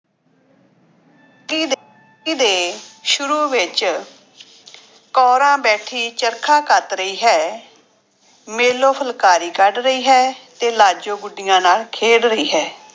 ਦੇ ਸ਼ੁਰੂ ਵਿੱਚ ਕੋਰਾਂ ਬੈਠੀ ਚਰਖਾ ਕੱਤ ਰਹੀ ਹੈ, ਮੇਲੋ ਫੁਲਕਾਰੀ ਕੱਢ ਰਹੀ ਹੈ ਤੇ ਲਾਜੋ ਗੁੱਡੀਆਂ ਨਾਲ ਖੇਡ ਰਹੀ ਹੈ।